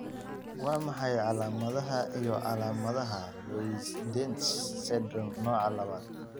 Waa maxay calaamadaha iyo calaamadaha Loeys Dietz syndrome nooca labad?